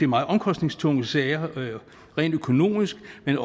meget omkostningstunge sager rent økonomisk men